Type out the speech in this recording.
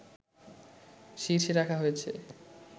শীর্ষে রাখা হয়েছে